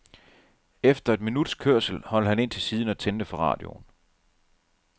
Efter et minuts kørsel holdt han ind til siden og tændte for radioen.